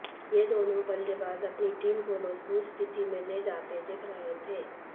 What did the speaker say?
ये दोनों बल्लेबाज अपनी टीम को मजबूत स्थिति में ले जाते दिख रहे थे